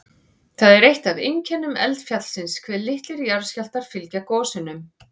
Það er eitt af einkennum eldfjallsins hve litlir jarðskjálftar fylgja gosunum.